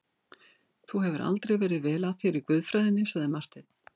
Þú hefur aldrei verið vel að þér í guðfræðinni, sagði Marteinn.